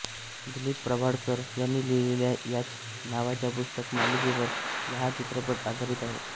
दिलीप प्रभावळकर यांनी लिहिलेल्या याच नावाच्या पुस्तक मालिकेवर हा चित्रपट आधारित आहे